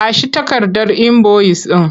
Ba shi takardar inboyis ɗin!